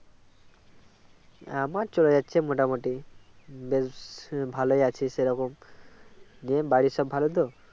আমার চলে যাচ্ছে মোটামুটি বেশ ভালই আছি সে রকম যে বাড়ির সব ভালো তো